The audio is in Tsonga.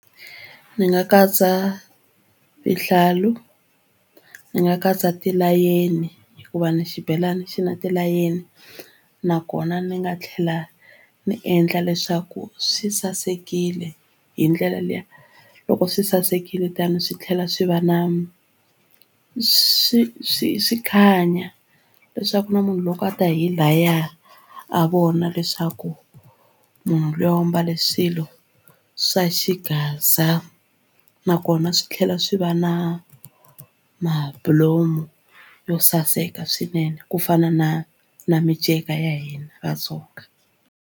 Ni nga katsa vuhlalu ni nga katsa tilayeni hikuva ni xibelani xi na tilayeni nakona ni nga tlhela ndzi endla leswaku swi sasekile hi ndlela liya loko swi sasekile tano swi tlhela swi va na swi swi swi khanya leswaku na munhu loko a ta hi laya a vona leswaku munhu luya u mbale swilo swa xigaza nakona swi tlhela swi va na mabulomu yo saseka swinene ku fana na na miceka ya hina Vatsonga.